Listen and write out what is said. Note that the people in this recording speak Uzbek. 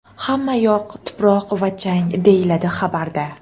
Hamma yoq tuproq va chang”, deyiladi xabarda.